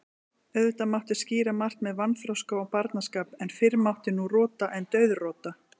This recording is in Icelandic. Auðvitað mátti skýra margt með vanþroska og barnaskap, en fyrr mátti nú rota en dauðrota.